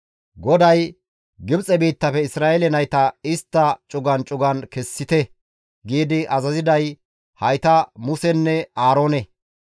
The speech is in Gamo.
GODAY, «Gibxe biittafe Isra7eele nayta istta cugan cugan kessite» giidi azaziday hayta Musenne Aaroone.